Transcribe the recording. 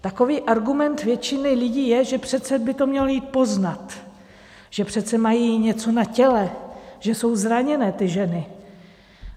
Takový argument většiny lidí je, že přece by to mělo jít poznat, že přece mají něco na těle, že jsou zraněné ty ženy.